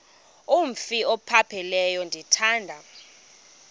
umf ophaphileyo ndithanda